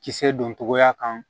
Kisɛ don togoya kan